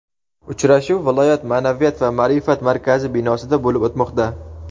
Uchrashuv viloyat Maʼnaviyat va maʼrifat markazi binosida bo‘lib o‘tmoqda.